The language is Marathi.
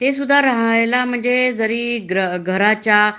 ते सुद्धा रहायला म्हणजे जरी घराच्या